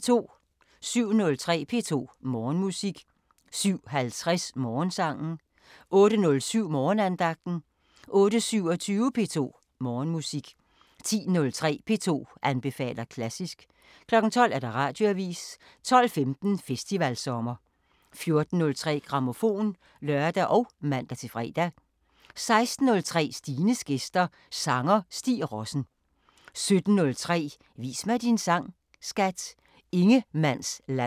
07:03: P2 Morgenmusik 07:50: Morgensangen 08:07: Morgenandagten 08:27: P2 Morgenmusik 10:03: P2 anbefaler klassisk 12:00: Radioavisen 12:15: Festivalsommer 14:03: Grammofon (lør og man-fre) 16:03: Stines gæster – Sanger Stig Rossen 17:03: Vis mig din sang, skat! – Ingemannsland